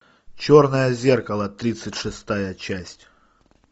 черное зеркало тридцать шестая часть